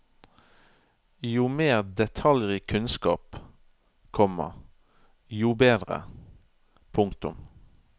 Jo mer detaljrik kunnskap, komma jo bedre. punktum